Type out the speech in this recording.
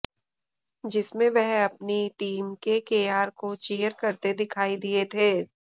जिसमें वह अपनी टीम केकेआर को चीयर करते दिखाई दिए थे